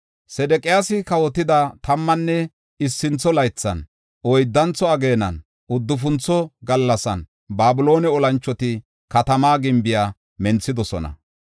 Sedeqiyaasi kawotida tammanne issintho laythan, oyddantho ageenan, uddufuntho gallasan Babiloone olanchoti katama gimbiya menthidosona.